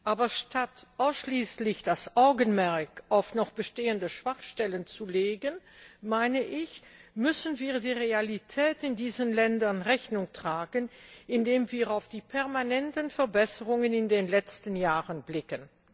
Aber statt das Augenmerk ausschließlich auf noch bestehende Schwachstellen zu legen, müssen wir der Realität in diesen Ländern Rechnung tragen, indem wir auf die permanenten Verbesserungen in den letzten Jahren blicken.